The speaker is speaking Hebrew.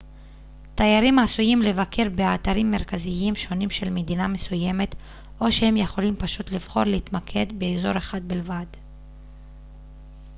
תיירים עשויים לבקר באתרים מרכזיים שונים של מדינה מסוימת או שהם יכולים פשוט לבחור להתמקד באזור אחד בלבד